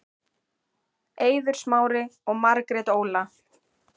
Eiður Smári og Margrét Óla